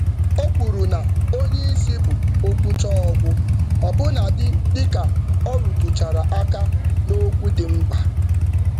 Ọ kwusiri ike na um mkpebi oga bụ nke ikpeazụ, ọbụlagodi mgbe ọ welitere nsogbu nwere ike.